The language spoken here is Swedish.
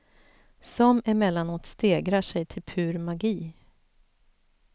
Som emellanåt stegrar sig till pur magi.